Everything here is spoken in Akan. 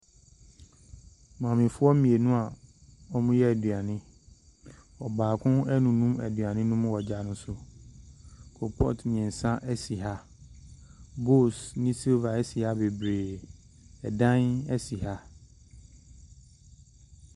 Maamefoɔ mmienu a wɔreyɛ aduane. Ɔbaako renunu aduane no mu wɔ gya no so. Koropɔɔto mmeɛnsa si ha. Bowls ne silver si ha bebree. Dan si ha.